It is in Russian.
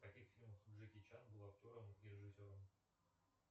в каких фильмах джеки чан был актером и режиссером